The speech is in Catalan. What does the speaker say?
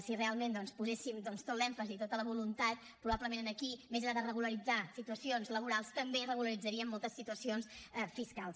si realment doncs poséssim tot l’èmfasi i tota la voluntat probablement aquí més enllà de regularitzar situacions laborals també regularitzaríem moltes situacions fiscals